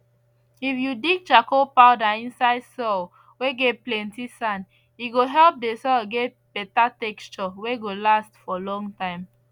if you dig charcoal powder inside soil whey get plenty sand e go help the soil get better texture whey go last for long time